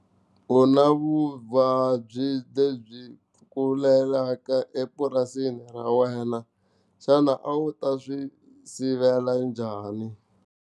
U na vuvabyi lebyi tlulelaka epurasini ra wena xana a wu ta swi sivela njhani?